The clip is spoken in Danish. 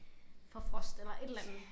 Fra frost eller et eller andet